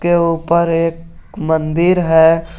के ऊपर एक मंदिर है।